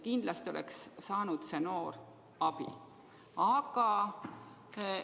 Kindlasti oleks see noor abi saanud.